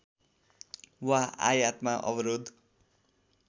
वा आयातमा अवरोध